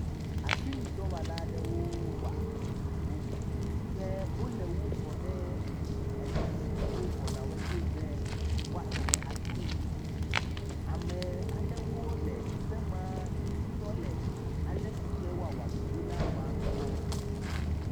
Asinudɔwɔala aɖewo woa ŋuwo. Ke wole wo fɔ ɖe enu si dzi wo fɔ nawoe ɖe be woatsɔ wo adoe. Ame aɖewo le teƒe maa tɔ le ale si ke woawɔ ɖoɖo la wɔm kpɔ.